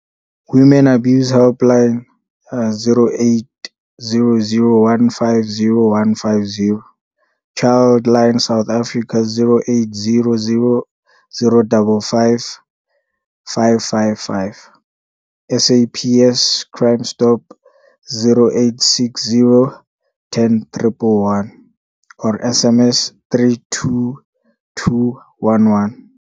Women Abuse Helpline - 0800 150 150. Childline South Africa - 0800 055 555. SAPS Crime Stop - 0860 10111 or SMS 32211.